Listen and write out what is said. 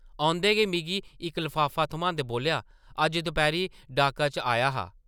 औंदे गै मिगी इक लफाफा थम्हांदे बोल्लेआ, ‘‘ अज्ज दपैह्री डाका च आया हा ।’’